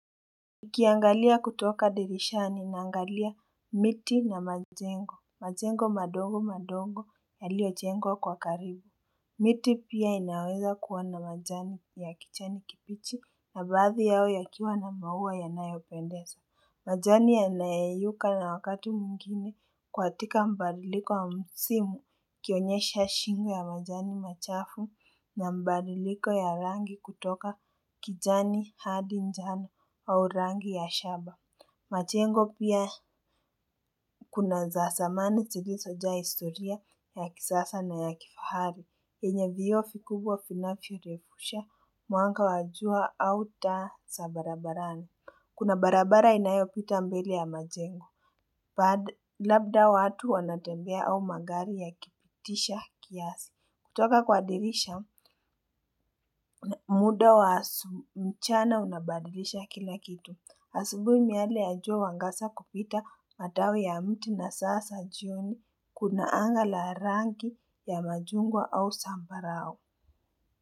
Nikiangalia kutoka dirishani naangalia miti na majengo majengo madongo madongo ya lio jengo kwa karibu miti pia inaweza kuwa na majani ya kijani kibichi na baadhi yao ya kiwa na maua ya nayopendeza majani ya nayayuka na wakatu mwingine kwa katika mbaliliko wa msimu kionyesha shingu ya majani machafu na mbadiliko ya rangi kutoka kijani hadi njane au rangi ya shaba. Majengo pia kuna zaa zamani zilizojaa historia ya kisasa na ya kifahari. Enye vio vikubwa vinafyo repusha mwanga wajua au taa za barabarani. Kuna barabara inayo pita mbele ya majengo. Labda watu wanatembea au magari ya kipitisha kiasi. Kutoka kwa dirisha, muda wa mchana unabadilisha kila kitu. Asubuhi miale jua huangasa kupita matawi ya mti na sasa jioni. Kuna angala rangi ya machungwa au sambarao.